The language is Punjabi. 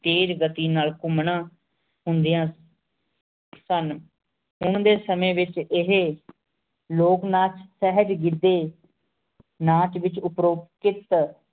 ਟੀਜ਼ ਘਟੀ ਨਾਲ ਘੁਮ ਨਾ ਹੁੰਦਾਂ ਸੁਨ ਹੁਣ ਡੀ ਸੰਯੰ ਵੇਚ ਏਹੀ ਲੋਗ ਨਾ ਚਾਹੇਚ ਘਰ ਡੀ ਨਾਚ ਵੇਚ ਉਪ੍ਰੁਪੇਟ